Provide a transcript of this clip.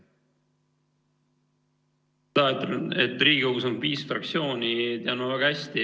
Seda, et Riigikogus on viis fraktsiooni, tean ma väga hästi.